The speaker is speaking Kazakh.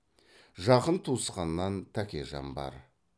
жақын туысқаннан тәкежан бар